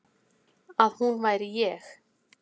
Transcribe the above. Að hún væri ég.